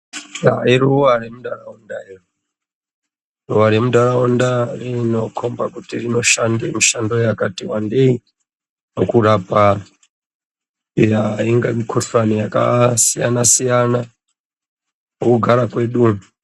Iruva remundaraunda ruva remundaraunda rinokomba kuti rinoshanda mishando yakati wandei mukurapa ingava mukuhlani yakasiyana siyana mukugara kwedu.